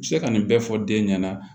Se ka nin bɛɛ fɔ den ɲɛna